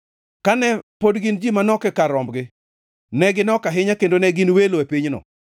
Kane pod gin ji manok e kar rombgi, ne ginok ahinya kendo ne gin welo e pinyno,